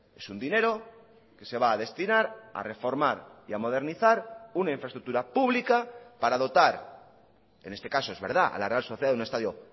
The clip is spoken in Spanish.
es un dinero que se va a destinar a reformar y a modernizar una infraestructura pública para dotar en este caso es verdad a la real sociedad de un estadio